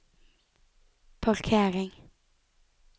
parkering